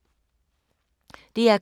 DR K